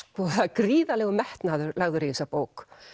gríðarlegur metnaður lagður í þessa bók